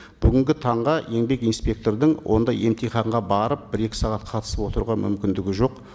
бүгінгі таңға еңбек инспектордың ондай емтиханға барып бір екі сағат қатысып отыруға мүмкіндігі жоқ